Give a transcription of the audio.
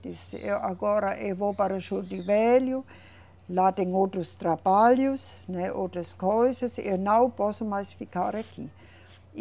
Disse, agora eu vou para Juruti Velho, lá tem outros trabalhos, né, outras coisas, eu não posso mais ficar aqui.